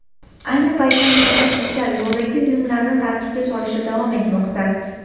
Ayni paytda mutaxassislar yo‘ldagi uyumlarni tartibga solishda davom etmoqda.